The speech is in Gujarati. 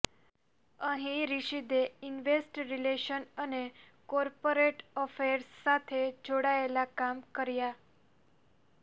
અહીં રિશદે ઈન્વેસ્ટ રિલેશન અને કોર્પોરેટ અફેર્સ સાથે જોડાયેલા કામ કર્યા